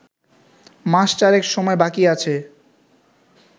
মাস চারেক সময় বাকি আছে